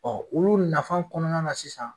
Ɔ olu nafa kɔnɔna na sisan.